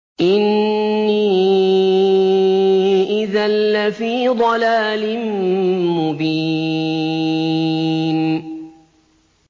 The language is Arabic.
إِنِّي إِذًا لَّفِي ضَلَالٍ مُّبِينٍ